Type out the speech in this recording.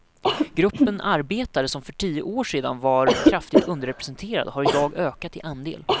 Gruppen arbetare som för tio år sedan var kraftigt underrepresenterad har idag ökat i andel.